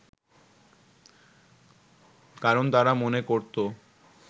কারণ তারা মনে করত